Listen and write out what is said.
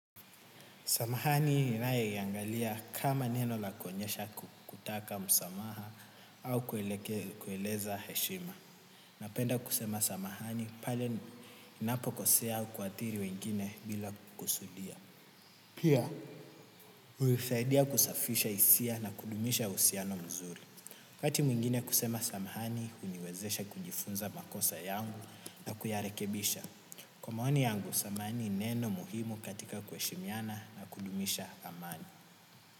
Samahani ninae yangalia kama neno lakonyesha kutaka msamaha au kueleza heshima. Napenda kusema samahani pale ninapokosea au kuathiri wengine bila kukusudia. Pia, huifadia kusafisha isia na kudumisha usiano mzuri. Wakati mwingine kusema samahani huniwezesha kujifunza makosa yangu na kuyarekebisha. Kwa maoni yangu, samahani neno muhimu katika kueshimiana na kudumisha amani.